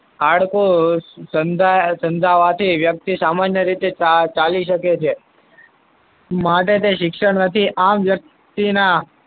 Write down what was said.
હાડકું સાંધાવાથી વ્યક્તિ સામાન્ય રીતે ચાલી શકે છે. માટે તે શિક્ષણ નથી આમ વ્યક્તિના